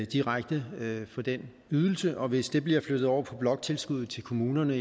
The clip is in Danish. direkte for den ydelse og hvis det bliver flyttet over på bloktilskuddet til kommunerne